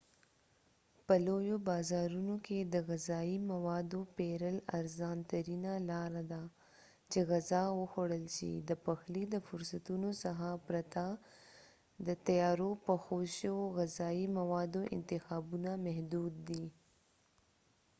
په لویو بازارونو کې د غذایی موادو پیرل ارزان ترینه لار ده چې غذا وخوړل شي د پخلي د فرصتونو څخه پرته د تیارو پخو شویو غذایی موادو انتخابونه محدود دي